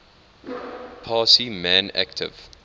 parsi man active